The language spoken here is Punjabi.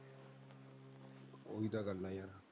ਉਹ ਹੀ ਤਾਂ ਗੱਲ ਆ ਯਾਰ।